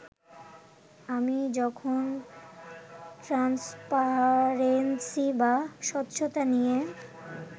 আমি যখন ট্রান্সপারেন্সি বা স্বচ্ছতা নিয়ে